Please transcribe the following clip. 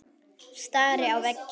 Stari á veginn.